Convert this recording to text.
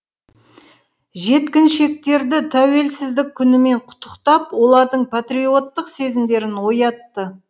жеткіншектерді тәуелсіздік күнімен құттықтап олардың патриоттық сезімдерін оятты